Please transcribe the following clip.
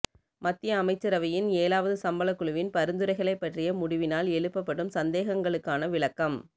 மத்திய அமைச்சரவையின் எழாவது சம்பள குழுவின் பரிந்துரைகளைப் பற்றிய முடிவினால் எழுப்பப்படும் சந்தேகங்களுக்கான விளக்கம்